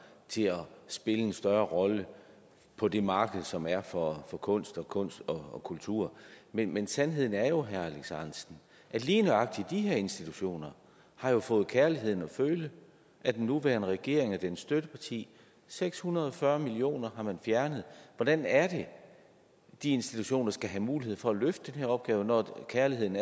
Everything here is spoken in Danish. til at spille en større rolle på det marked som er for for kunst og kunst og kultur men men sandheden er jo at lige nøjagtig de her institutioner har fået kærligheden at føle af den nuværende regering og dens støtteparti seks hundrede og fyrre million kroner har man fjernet hvordan er det at de institutioner skal have mulighed for at løfte den her opgave når kærligheden